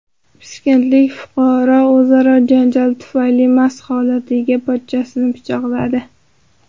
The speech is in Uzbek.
Piskentlik fuqaro o‘zaro janjal tufayli mast holatdagi pochchasini pichoqladi.